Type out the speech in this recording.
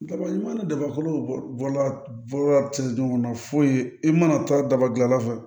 Daba mana daba ko la ci ɲɔgɔn na foyi i mana taa daba dilan fɛ